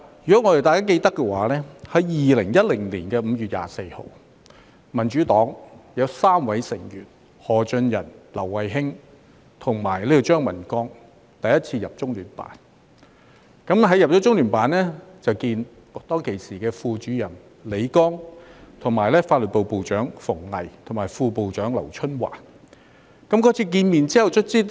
如果大家記得，在2010年5月24日，民主黨有3位成員，包括何俊仁、劉慧卿和張文光，第一次進入中央人民政府駐香港特別行政區聯絡辦公室，與時任中聯辦副主任李剛、法律部部長馮巍及副部長劉春華會面。